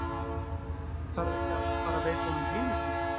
Þarf ekki að fara veita honum heiðursmerki?